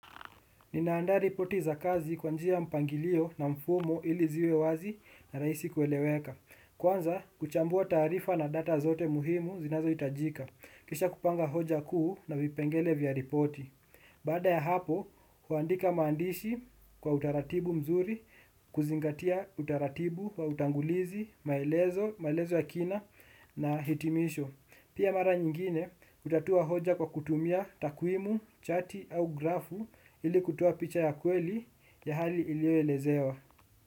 Ninaandari poti za kazi kwa njia ya mpangilio na mfumo ili ziwe wazi na rahisi kueleweka. Kwanza, kuchambua taarifa na data zote muhimu zinazo hitajika. Kisha kupanga hoja kuu na vipengele vya ripoti. Baada ya hapo, huandika maandishi, kwa utaratibu mzuri, kuzingatia utaratibu wa utangulizi, maelezo, maelezo ya kina, na hitimisho. Pia mara nyingine hutatua hoja kwa kutumia takuimu, chati au grafu ili kutua picha ya kweli ya hali ilioelezewa.